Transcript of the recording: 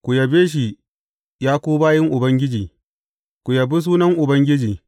Ku yabe shi, ya ku bayin Ubangiji, ku yabi sunan Ubangiji.